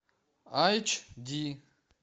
айч ди